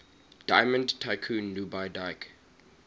diamond tycoon nwabudike